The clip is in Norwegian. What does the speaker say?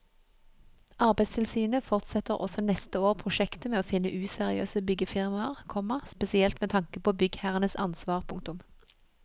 Arbeidstilsynet fortsetter også neste år prosjektet med å finne useriøse byggefirmaer, komma spesielt med tanke på byggherrenes ansvar. punktum